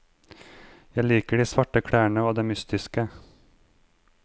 Jeg liker de svarte klærne og det mystiske.